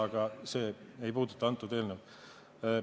Aga see ei puuduta antud eelnõu.